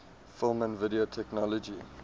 film and video technology